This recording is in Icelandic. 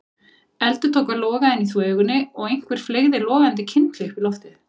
Eldur tók að loga inni í þvögunni og einhver fleygði logandi kyndli upp í loftið.